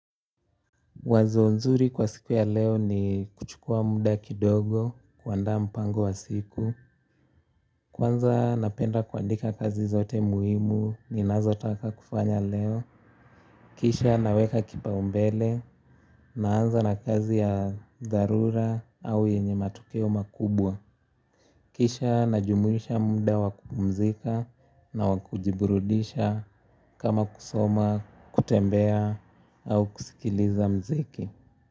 Wazo nzuri kwa siku ya leo ni kuchukua muda kidogo kuandaa mpango wa siku. Kwanza napenda kuandika kazi zote muhimu ni nazotaka kufanya leo. Kisha naweka kipaumbele naanza na kazi ya dharura au yenye matokeo makubwa. Kisha najumuisha muda wa kupumzika na wa kujiburudisha kama kusoma kutembea au kusikiliza muziki.